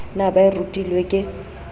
na ba e rutilwe ke